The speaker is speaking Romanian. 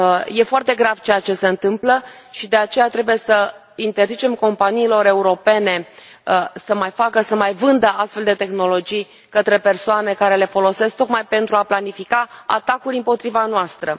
Este foarte grav ceea ce se întâmplă și, de aceea, trebuie să interzicem companiilor europene să mai vândă astfel de tehnologii către persoane care le folosesc tocmai pentru a planifica atacuri împotriva noastră.